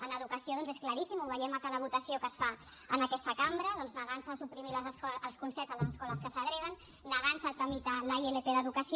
en educació doncs és claríssim ho veiem a cada votació que es fa en aquesta cambra en negar se a suprimir els concerts a les escoles que segreguen en negar se a tramitar la ilp d’educació